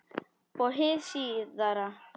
Og hið síðara